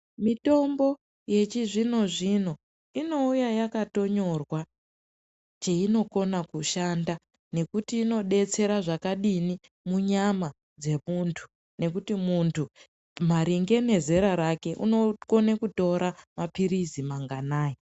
Mitombo yechizvino-zvino inouya yakatonyorwa kuti inogona kushanda nekuti inodetsera zvakadii munyama dzemuntu nekuti muntu maringe nezera rake inogone kutora mapiritsi manganayi